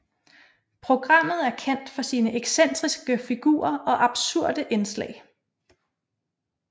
Programmet er kendt for sine excentriske figurer og absurde indslag